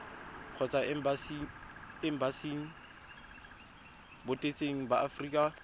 kgotsa embasing botseteng ba aforika